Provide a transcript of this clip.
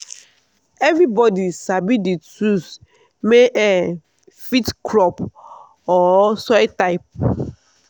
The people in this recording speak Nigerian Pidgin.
everybody sabi the tools may um fit crop or soil type.